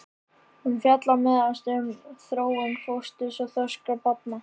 Hún fjallar meðal annars um þróun fósturs og þroska barna.